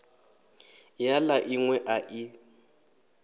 ya la inwe a i